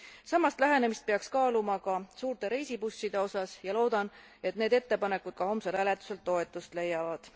Sarnast lähenemist peaks kaaluma ka suurte reisibusside osas ja loodan, et need ettepanekud ka homsel hääletusel toetust leiavad.